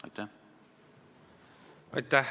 Aitäh!